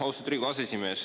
Austatud Riigikogu aseesimees!